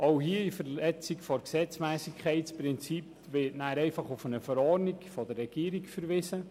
Auch hier wird in Verletzung des Gesetzmässigkeitsprinzips einfach auf eine Verordnung der Regierung verwiesen.